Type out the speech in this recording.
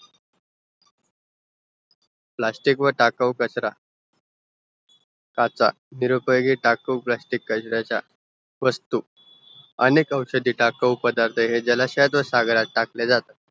plastic टाकाऊ कचरा काचा निरुपयोगी टाकाऊ प्लास्टिसि कचरायचा वस्तू अनेक औषधी टाकाऊ पदार्त हेय जल शयात व सागरात टाकले जातात